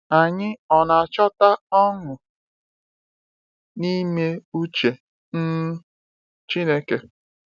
Anyị ọ na-achọta ọṅụ n’ime uche um Chineke?